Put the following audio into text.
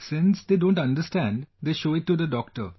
Since they don't understand, they show it to the doctor